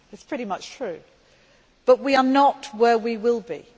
It is pretty much true, but we are not where we will be.